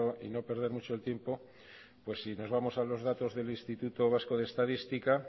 y no perder mucho el tiempo pues si nos vamos a los datos del instituto vasco de estadística